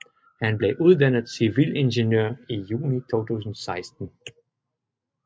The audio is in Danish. Han blev uddannet civilingeniør i juni 2016